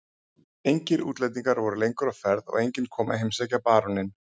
Engir útlendingar voru lengur á ferð og enginn kom að heimsækja baróninn.